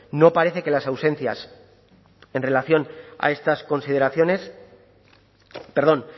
no parece que las ausencias en relación a estas consideraciones perdón